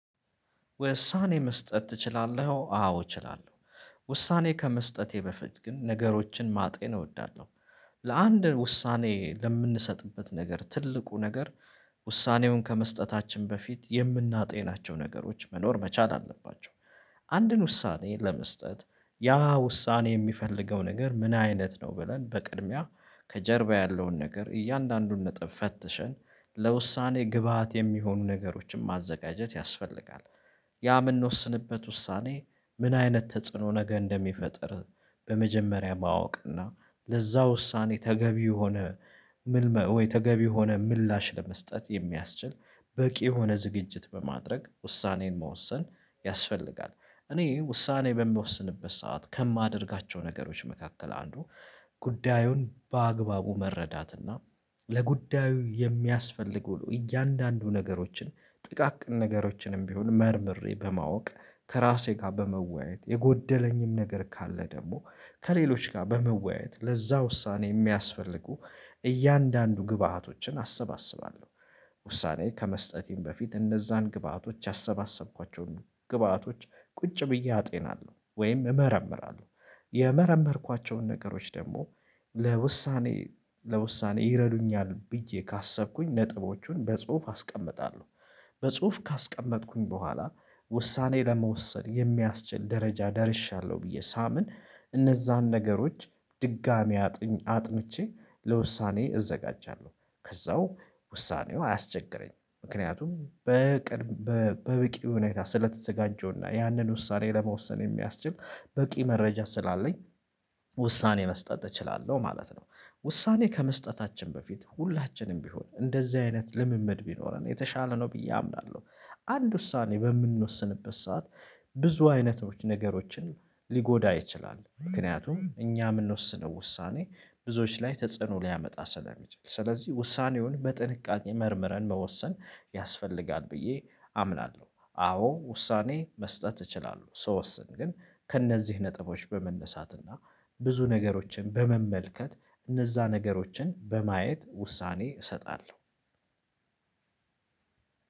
ውሳኔ መስጠት ትችላለህ አዎ እችላለሁ። ውሳኔ ከመስጠቴ በፊት ግን ነገሮችን ማጤን እወዳለሁ። ለአንድ ውሳኔ ለምንሰጥበት ነገር ትልቁ ነገር። ውሳኔውን ከመስጠታችን በፊት የምናጤናቸው ነገሮች መኖር መቻል አለባቸው። አንድን ውሳኔ ለመስጠት ያ ውሳኔ የሚፈልገው ነገር ምን አይነት ነው ብለን በቅድሚያ ከጀርባ ያለውን ነገር እያንዳንዱን ነጥብ ፈትሸን ለውሳኔ ግብአት የሚሆኑ ነገሮችን ማዘጋጀት ያስፈልጋል። ያ ምንወስንበት ውሳኔ ምን አይነት ተጽዕኖ ነገ እንደሚፈጥር። በመጀመሪያ ማወቅና ለዛ ውሳኔ ተገቢ የሆነ ምልመእ ወይ ተገቢ የሆነ ምላሽ ለመስጠት የሚያስችል በቂ የሆነ ዝግጅት በማድረግ ውሳኔን መወሰን ያስፈልጋል። እኔ ውሳኔ በምወስንበት ሰዓት ከማደርጋቸው ነገሮች መካከል አንዱ። ጉዳዩን በአግባቡ መረዳት እና ለጉዳዩ የሚያስፈልጉ እያንዳንዱ ነገሮችን ጥቃቅን ነገሮችንም ቢሆን መርምሬ በማወቅ ከራሴ ጋር በመወያየት የጎደለኝም ነገር ካለ ደግሞ ከሌሎች ጋር በመወያየት ለዛ ውሳኔ የሚያስፈልጉ እያንዳንዱ ግብአቶችን አሰባስባለሁ። ውሳኔ ከመስጠቴም በፊት እነዛን ግብአቶች ያሰባሰብኳቸውን ግብአቶች ቁጭ ብዬ አጤናለሁ ወይም እመረምራለሁ። የመረመርኳቸውን ነገሮች ደግሞ ለውሳኔ ለውሳኔ ይረዱኛል ብዬ ካሰብኩኝ ነጥቦቹን በጽሁፍ አስቀምጣለሁ። በጽሁፍ ካስቀመጥኩኝ በኋላ ውሳኔ ለመወሰን የሚያስችል ደረጃ ደርሻለሁ ብዬ ሳምን እነዛን ነገሮች ድጋሚ አጥንቼ ለውሳኔ እዘጋጃለሁ። ከዛው ውሳኔው አያስቸግረኝም ምክንያቱም በበቂ ሁኔታ ስለተዘጋጀውና ያንን ውሳኔ ለመወሰን የሚያስችል በቂ መረጃ ስላለኝ። ውሳኔ መስጠት እችላለሁ ማለት ነው። ውሳኔ ከመስጠታችን በፊት ሁላችንም ቢሆን እንደዚህ አይነት ልምምድ ቢኖረን የተሻለ ነው ብዬ አምናለሁ። አንድ ውሳኔ በምንወስንበት ሰዓት ብዙ አይነቶች ነገሮችን ሊጎዳ ይችላል ምክንያቱም እኛ የምንወስነው ውሳኔ ብዙዎች ላይ ተጽዕኖ ሊያመጣ ስለሚችል ስለዚህ ውሳኔውን በጥንቃቄ መርምረን መወሰን ያስፈልጋል ብዬ አምናለሁ። አዎ ውሳኔ መስጠት እችላለሁ ስወስን ግን ከእነዚህ ነጥቦች በመነሳትና ብዙ ነገሮችን በመመልከት እነዛ ነገሮችን በማየት ውሳኔ እሰጣለሁ።